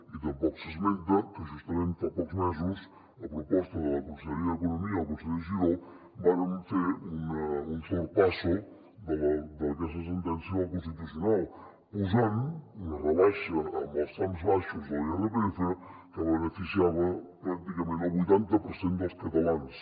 ni tampoc s’esmenta que justament fa pocs mesos a proposta de la conselleria d’economia i el conseller giró vàrem fer un sorpassodel constitucional posant una rebaixa en els trams baixos de l’irpf que beneficiava pràcticament el vuitanta per cent dels catalans